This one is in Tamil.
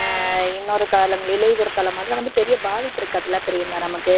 அஹ் இன்னொரு காலம் இலையுதிர்காலம் அதெல்லாம் வந்து பெரிய பாதிப்பு இருக்காது இல்லை பிரியங்கா நமக்கு.